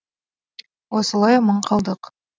осылай аман қалдық